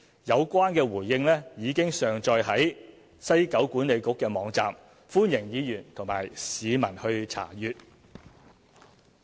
有關回應已經上載西九管理局網站，歡迎議員及市民查閱。